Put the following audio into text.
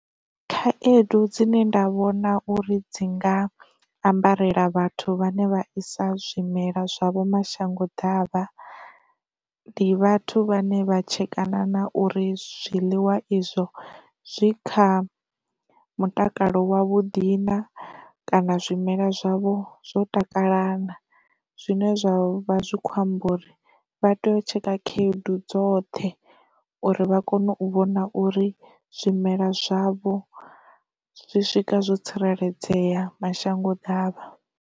Khaedu dzine nda vhona uri dzi nga ambarela vhathu vhane vha isa zwimela zwavho mashango davha, ndi vhathu vhane vha tshetshekana na uri zwiḽiwa izwo zwi kha mutakalo wa vhuḓi na, kana zwimela zwavho zwo takala na. Zwine zwa vha zwi khou amba uri vha tea u tsheka khayedu dzoṱhe uri vha kone u vhona uri zwimela zwavho zwi swika zwo tsireledzea mashango ḓavha.